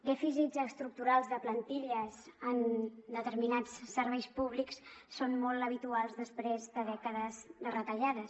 dèficits estructurals de plantilles en determinats serveis públics són molt habituals després de dècades de retallades